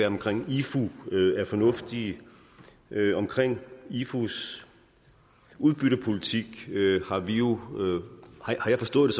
omkring ifu er fornuftige omkring ifus udbyttepolitik har jeg forstået